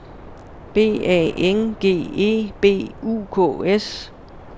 B A N G E B U K S